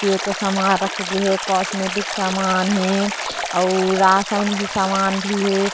पिए के समान रखे गए हे कॉमेडिक समान हे और राशन भी समान भी हे।